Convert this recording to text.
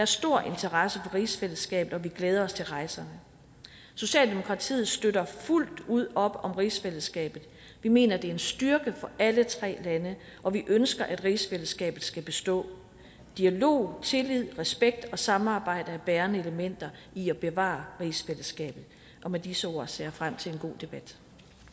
stor interesse for rigsfællesskabet og vi glæder os til rejserne socialdemokratiet støtter fuldt ud op om rigsfællesskabet vi mener det er en styrke for alle tre lande og vi ønsker at rigsfællesskabet skal bestå dialog tillid respekt og samarbejde er bærende elementer i at bevare rigsfællesskabet og med disse ord ser jeg frem til en god debat